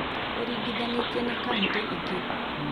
Ũringithanĩtie na kauntĩ ingĩ